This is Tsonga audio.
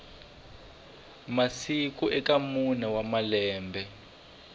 masiku eka mune wa malembe